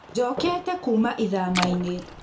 njokete kuma ĩthamainĩ